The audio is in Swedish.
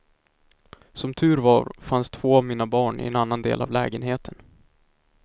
Som tur var fanns två av mina barn i en annan del av lägenheten.